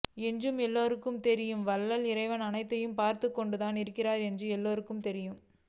என்று எல்லோருக்கும் தெரியும் வல்ல இறைவன் அனைத்தையும் பார்த்து கொண்டுதான் இருகிறான் என்றும் எல்லொருக்கும் தெரியும்